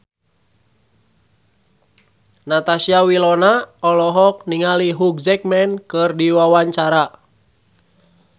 Natasha Wilona olohok ningali Hugh Jackman keur diwawancara